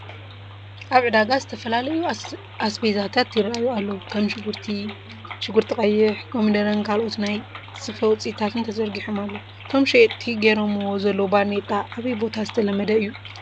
ኣብ ዕዳጋ ዝተፈላለዩ ኣዝስቤታት ይራኣዩ ኣለው፡፡ ከም ሽጉርቲ ቀይሕ፣ ኮሚደረን ካልኦት ናይ ስፈ ውፅኢታትን ተዘርጊሖም ኣለው፡፡ ቶም ሸየጥቲ ጌሮምዎ ዘለው ባርኔጣ ኣበይ ቦታ ዝተለመደ እዩ?